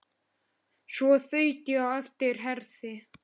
Svo þaut ég á eftir Herði.